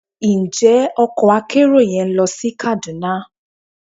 Njẹ ọkò akerò yẹn lo sí Kaduna?